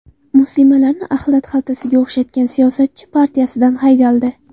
Muslimalarni axlat xaltasiga o‘xshatgan siyosatchi partiyasidan haydaldi.